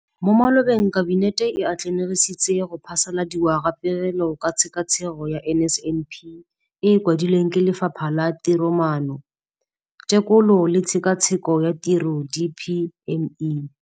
Mo malobeng Kabinete e atlenegisitse go phasaladiwa ga Pegelo ka Tshekatsheko ya NSNP e e kwadilweng ke Lefapha la Tiromaano, Tekolo le Tshekatsheko ya Tiro, DPME.